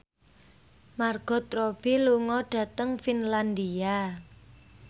Margot Robbie lunga dhateng Finlandia